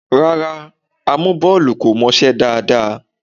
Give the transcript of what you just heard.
Rárá, amúbọ́ọlù kò mọṣẹ́ dáadáa.